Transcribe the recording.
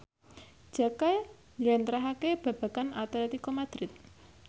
Jaka njlentrehake babagan Atletico Madrid